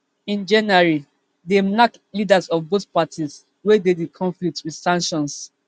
in january dem knack leaders of both parties wey dey di konflict wit sanctions